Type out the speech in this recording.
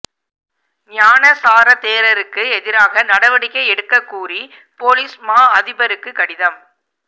ஞானசார தேரருக்கு எதிராக நடவடிக்கை எடுக்க கூறி பொலிஸ் மா அதிபருக்கு கடிதம்